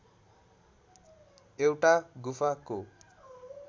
एउटा गुफाको